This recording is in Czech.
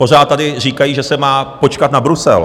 Pořád tady říkají, že se má počkat na Brusel.